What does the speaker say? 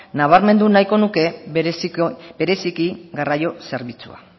nabarmendu nahiko nuke bereziki garraio zerbitzua